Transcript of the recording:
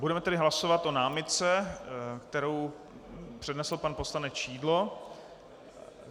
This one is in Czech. Budeme tedy hlasovat o námitce, kterou přednesl pan poslanec Šidlo.